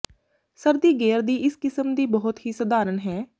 ਸਰਦੀ ਗੇਅਰ ਦੀ ਇਸ ਕਿਸਮ ਦੀ ਬਹੁਤ ਹੀ ਸਧਾਰਨ ਹੈ